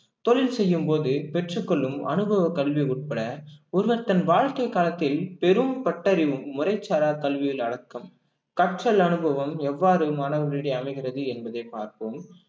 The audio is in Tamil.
தொழில் செய்யும்போது பெற்றுக் கொள்ளும் அனுபவக் கல்வி உட்பட ஒருவர் தன் வாழ்க்கை காலத்தில் பெரும் பட்டறிவு முறைச்சாரா கல்வியில் அடக்கம் கற்றல் அனுபவம் எவ்வாறு மாணவர்களிடையே அமைகிறது என்பதை பார்ப்போம்